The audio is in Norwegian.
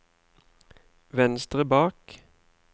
venstre bak